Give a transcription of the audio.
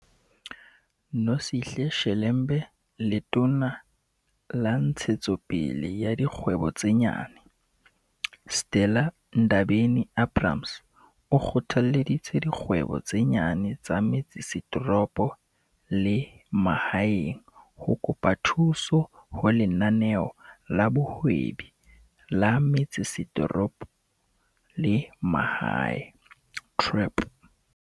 Nosihle Shelembe Letona la Ntshetso pele ya Dikgwebo tse Nyane, Stella Ndabeni-Abrahams, o kgothalleditse dikgwebo tse nyane tsa metse setoropo le mahaeng ho kopa thuso ho Lenaneo la Bohwebi la Metsesetoropo le Mahae, TREP.